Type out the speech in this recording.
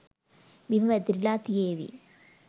බිම වැතිරිලා තියේවි